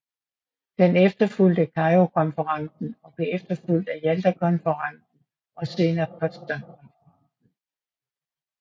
Den efterfulgte Kairokonferencen og blev efterfulgt af Jaltakonferencen og senere Potsdamkonferencen